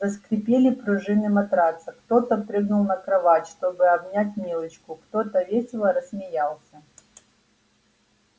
заскрипели пружины матраца кто-то прыгнул на кровать чтобы обнять милочку кто-то весело рассмеялся